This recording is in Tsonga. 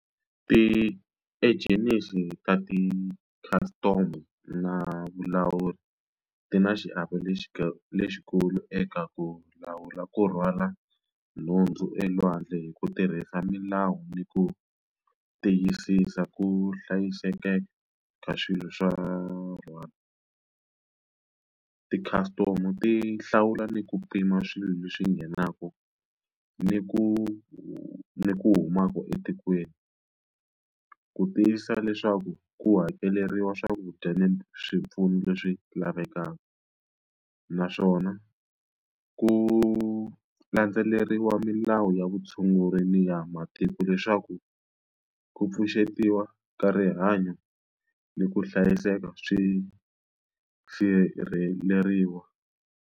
Ti-engines ta ti custom na vulawuri ti na xiave lexi lexikulu eka ku lawula ku rhwala nhundzu elwandle hi ku tirhisa milawu ni ku tiyisisa ku hlayiseka ka swilo swa rhwale ti customer ti hlawula ni ku pima swilo leswi nghenaka ni ku ni ku humaka etikweni ku tivisa leswaku ku hakeleriwa swakudya ni swipfuno leswi lavekaka naswona ku landzeleriwa mali lawa ya vutshunguri ni ya matiko leswaku ku pfuxetiwa ka rihanyo ni ku hlayiseka swi sirheleriwa.